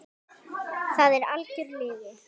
Það er algjör lygi.